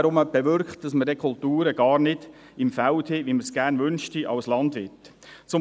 Dies bewirkt dann nur, dass wir die Kulturen gar nicht so im Feld haben, wie man es sich als Landwirt gerne wünschte.